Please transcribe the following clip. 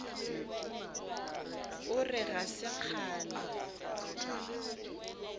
o re ga se kgale